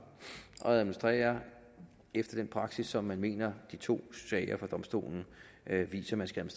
at administrere efter den praksis som man mener de to sager fra domstolen beviser man skal